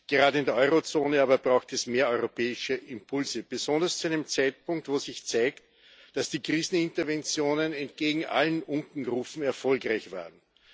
Gerade in der Eurozone aber braucht es mehr europäische Impulse, besonders zu einem Zeitpunkt, wo sich zeigt, dass die Kriseninterventionen entgegen allen Unkenrufen erfolgreich waren.